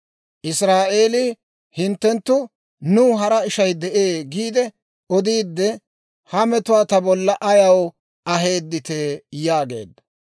Israa'eelii, «Hinttenttu, ‹Nuw hara ishay de'ee› giide odiide ha metuwaa ta bolla ayaw aheedditee?» yaageedda.